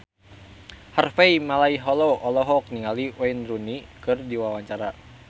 Harvey Malaiholo olohok ningali Wayne Rooney keur diwawancara